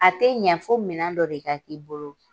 A tɛ ɲɛ fo minɛn dɔ de ka k'i bolo.